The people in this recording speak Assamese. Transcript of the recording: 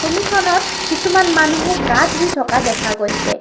ছবিখনত কিছুমান মানুহে গা ধুই থকা দেখা গৈছে।